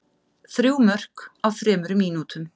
Þrjú mörk á þremur mínútum.